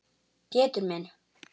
Pétur minn.